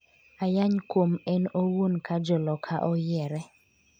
ayany kuom en owuon’ ka Joloka oyiere